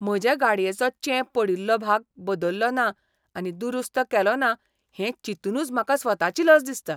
म्हजे गाडयेचो चेंप पडिल्लो भाग बदल्लो ना आनी दुरुस्त केलो ना हें चिंतुनूच म्हाका स्वताची लज दिसता.